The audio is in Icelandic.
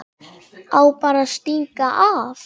Á bara að stinga af.